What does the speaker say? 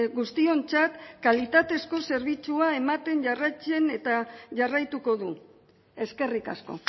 guztiontzat kalitatezko zerbitzua ematen jarraitzen eta jarraituko du eskerrik asko